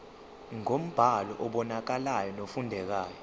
ngombhalo obonakalayo nofundekayo